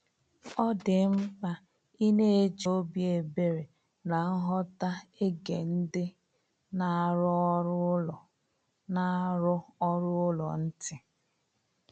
Ọ dị mkpa ịna eji obi ebere na nghọta ege ndị na-arụ ọrụ ụlọ na-arụ ọrụ ụlọ ntị